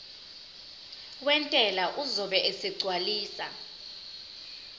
wentela uzobe esegcwalisa